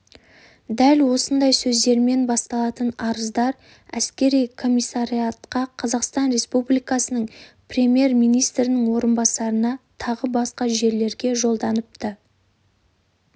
дәл осындай сөздермен басталатын арыздар әскери комиссариатқа қазақстан республикасының премьер-министірінің орынбасарына тағы басқа жерлерге жолданыпты